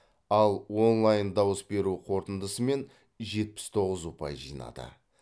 ал онлайн дауыс беру қорытындысымен жетпіс тоғыз ұпай жинады